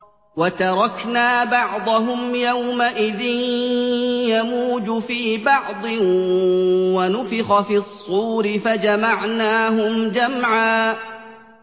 ۞ وَتَرَكْنَا بَعْضَهُمْ يَوْمَئِذٍ يَمُوجُ فِي بَعْضٍ ۖ وَنُفِخَ فِي الصُّورِ فَجَمَعْنَاهُمْ جَمْعًا